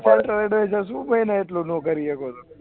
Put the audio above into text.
શું કરી એટલુ નોકરીએ કાયિક